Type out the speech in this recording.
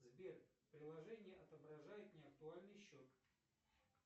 сбер приложение отображает не актуальный счет